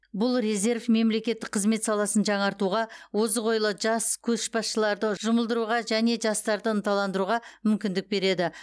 бұл резерв мемлекеттік қызмет саласын жаңартуға озық ойлы жас көшбасшыларды жұмылдыруға және жастарды ынталандыруға мүмкіндік береді